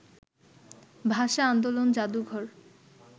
ভাষা-আন্দোলন জাদুঘর